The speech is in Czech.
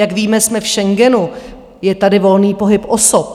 Jak víme, jsme v Schengenu, je tady volný pohyb osob.